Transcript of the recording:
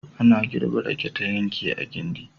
Ana girbe rake ta yanke a gindi.